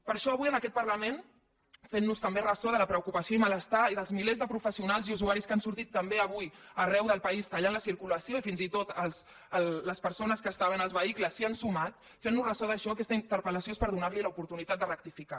per això avui en aquest parlament fent nos també ressò de la preocupació i malestar i dels milers de professionals i usuaris que han sortit també avui arreu del país i han tallat la circulació i fins i tot les persones que estaven als vehicles s’hi han sumat fent nos ressò d’això aquesta interpel·lació és per donar li l’oportunitat de rectificar